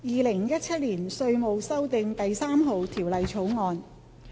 《2017年稅務條例草案》。